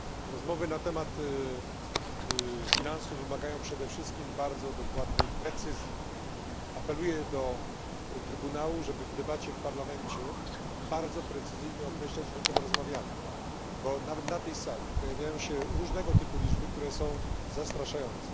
Rozmowy na temat finansów wymagają przede wszystkim bardzo dużej precyzji. Apeluję do Trybunału, żeby w debacie w Parlamencie bardzo precyzyjnie określać, o czym rozmawiamy, bo nawet na tej sali pojawiają się różnego typu liczby, które są zastraszające.